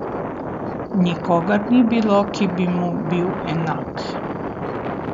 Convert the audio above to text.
Nikogar ni bilo, ki bi mu bil enak!